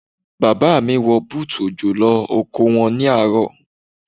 Bàbá mi wọ bútù òjò lọ oko wọn ní àárọ̀.